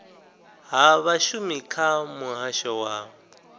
ha vhashumi kha muhasho wa